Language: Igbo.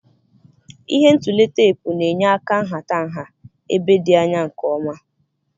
Ihe ntule teepu na-enye áká nhata nha ébé dị anya nke ọma.